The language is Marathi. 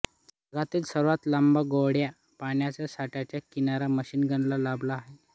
जगातील सर्वात लांब गोड्या पाण्याच्या साठ्यांचा किनारा मिशिगनला लाभला आहे